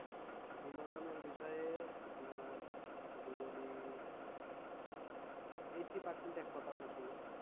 বিনোদনের বিষয়ে আপনার যদি বলি eighty percent একমত আপনার সঙ্গে।